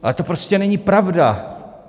Ale to prostě není pravda!